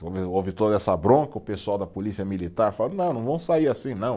Houve, houve toda essa bronca, o pessoal da polícia militar, não, não vão sair assim, não.